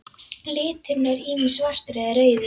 Liturinn er ýmist svartur eða rauður.